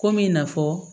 Komi i n'a fɔ